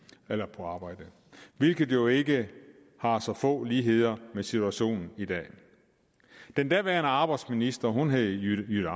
på arbejde hvilket jo ikke har så få ligheder med situationen i dag den daværende arbejdsminister hed jytte